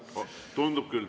Tundub küll.